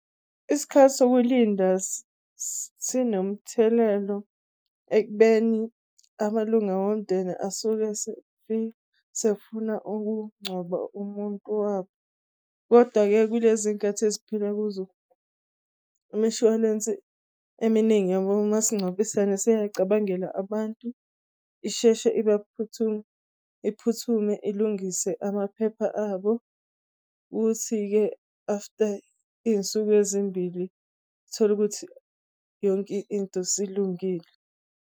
Isikhathi sokulinda sinomthelelo ekubeni amalunga womndeni asuke sefuna ukuncwaba umuntu wabo, kodwa-ke kulezikhathi esiphila kuzo imshwalense eminingi yabo masingcwabisane seyabacabangela abantu, isheshe iphuthume ilungise amaphepha abo, ukuthi-ke after izinsuku ezimbili uthole ukuthi yonke into silungile.